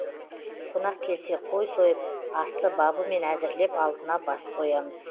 қонақ келсе қой сойып асты бабымен әзірлеп алдына бас қоямыз